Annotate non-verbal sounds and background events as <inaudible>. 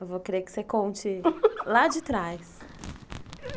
Eu vou querer que você conte <laughs> lá de trás.